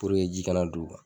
ji ka na don u kan.